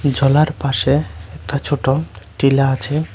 জলার পাশে একটা ছোট টিলা আছে।